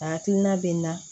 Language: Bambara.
A hakilina bɛ n na